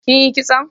Kin yi kison?